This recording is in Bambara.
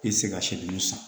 I tɛ se ka san